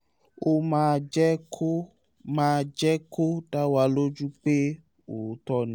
ó máa jẹ́ kó máa jẹ́ kó dá wa lójú pé òótọ́ ni